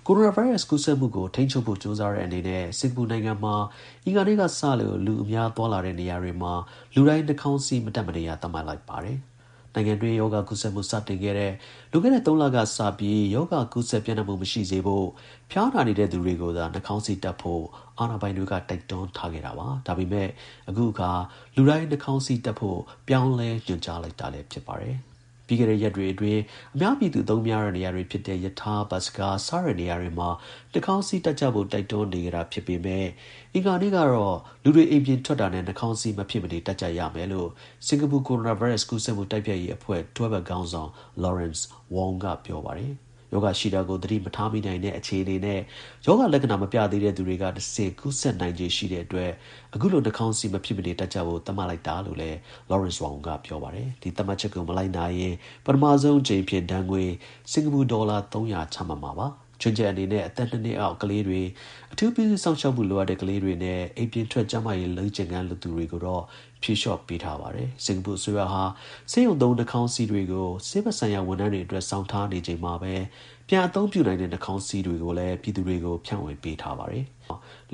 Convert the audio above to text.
ိုရိုနာဗိုင်းရပ်စ် ကူးစက်မှုကို ထိန်းချုပ်ဖို့ကြိုးစားတဲ့အနေနဲ့ စင်္ကာပူနိုင်ငံမှာ အင်္ဂါနေ့ ကစပြီး လူအများသွားလာတဲ့နေရာတွေမှာ လူတိုင်း နှာခေါင်းစည်း မတပ်မနေရ သတ်မှတ်လိုက်ပါတယ်။ နိုင်ငံတွင်း ရောဂါကူးစက်မှုစတင်ခဲ့တဲ့ လွန်ခဲ့တဲ့ ၃ လကစပြီး ရောဂါ ကူးစက်ပျံ့နှံ့မှုမရှိစေဖို့ ဖျားနာနေသူတွေကိုသာ နှာခေါင်းစည်းတပ်ဖို့ အာဏာပိုင်တွေကတိုက်တွန်းထားခဲ့တာပါ။ ဒါပေမဲ့ အခုအခါ လူတိုင်း နှာခေါင်းစည်း တပ်ဖို့ ပြောင်းလဲညွှန်ကြားလိုက်တာလည်း ဖြစ်ပါတယ်။ ပြီးခဲ့တဲ့ ရက်တွေအတွင်း အများပြည်သူအသုံးများတဲ့ နေရာတွေဖြစ်တဲ့ ရထား ၊ ဘတ်စ်ကား စတဲ့ နေရာတွေမှာ နှာခေါင်းစည်း တပ်ကြဖို့ တိုက်တွန်းနေခဲ့တာ ဖြစ်ပေမဲ့ အင်္ဂါနေ့ ကတော့ လူတွေအိမ်ပြင်ထွက်တာနဲ့ နှာခေါင်းစည်း မဖြစ်မနေတပ်ဆင်ကြရကြမယ်လို့ စင်္ကာပူ ကိုရိုနာဗိုင်းရပ်စ် ကူးစက်မှုတိုက်ဖျက်ရေးအဖွဲ့ တွဲဘက်ခေါင်းဆောင် Lawrence Wong က ပြောပါတယ်။ ရောဂါရှိတာကို သတိမထားမိနိုင်တဲ့အခြေအနေနဲ့ ရောဂါလက္ခဏာ မပြသေးတဲ့သူတွေကနေတဆင့် ကူးစက်နိုင်ခြေ ရှိနေတဲ့အတွက် အခုလို နှာခေါင်းစည်း မဖြစ်မနေတပ်ကြဖို့ သတ်မှတ်လိုက်တာ လို့လည်း Lawrence Wong က ပြောပါတယ်။ ဒီသတ်မှတ်ချက်ကို မလိုက်နာရင် ပထမအကြိမ်မှာ ဒဏ်ငွေ စင်္ကာပူဒေါ်လာ ၃၀၀ ချမှတ်မှာပါ။ ချွင်းချက်အနေနဲ့ အသက် ၂ နှစ်အောက်ကလေးငယ်တွေ၊ အထူး ပြုစုစောင့်ရှောက်မှုလိုအပ်တဲ့ ကလေးတွေနဲ့ အိမ်ပြင်ထွက် ကျန်းမာရေးလေ့ကျင့်ခန်းလုပ်သူတွေကိုတော့ ဖြေလျော့ ပေးထားပါတယ်။ စင်္ကာပူ အစိုးရဟာ ဆေးရုံသုံး နှာခေါင်းစည်းတွေကို ဆေးဘက်ဆိုင်ရာ ဝန်ထမ်းတွေအတွက် ဆောင်ထားနေချိန်မှာပဲ ပြန်အသုံးပြုနိုင်တဲ့ နှာခေါင်းစည်းတွေကိုလည်း ပြည်သူ တွေဆီ ဖြန့်ဝေပေးထားပါတယ်။